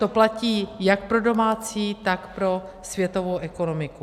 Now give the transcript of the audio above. To platí jak pro domácí, tak pro světovou ekonomiku.